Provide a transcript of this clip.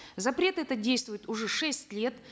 запрет этот действует уже шесть лет